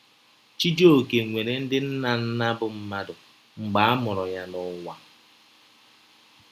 Chijioke nwere ndị nna nna bụ́ mmadụ mgbe a mụrụ ya n’ụwa.